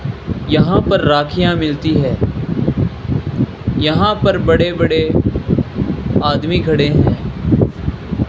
यहां पर राखियां मिलती है यहां पर बड़े बड़े आदमी खड़े हैं।